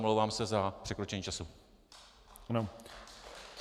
Omlouvám se za překročení času.